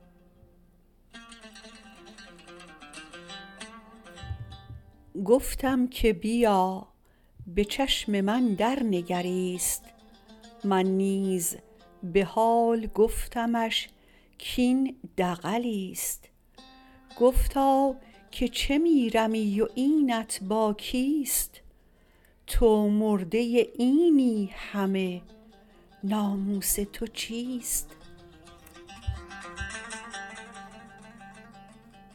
گفتم که بیا بچشم من درنگریست من نیز به حال گفتمش کاین دغلیست گفتا که چه میرمی و اینت با کیست تو مرده اینی همه ناموس تو چیست